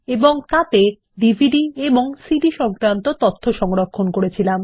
এবং তাতে ডিভিডি এবং সিডির তথ্য সংরক্ষণ করা হয়েছিল